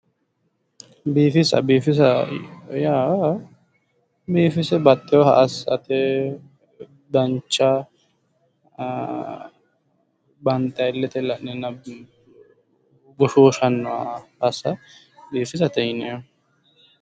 Biifisa biifisa yaa biifise baxxewooha assate dancha banxayiiha illete la'neenna goshooshannoha assa biifisate yineemmo.